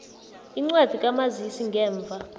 incwadi kamazisi ngemva